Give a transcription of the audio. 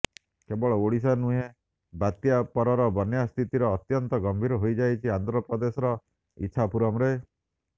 କେବଳ ଓଡ଼ିଶା ନୁେହଁ ବାତ୍ୟା ପରର ବନ୍ୟା ସ୍ଥିତିର ଅତ୍ୟନ୍ତ ଗମ୍ଭୀର ହୋଇଯାଇଛି ଆନ୍ଧ୍ର ପ୍ରଦେଶର ଇଚ୍ଛାପୁରମରେ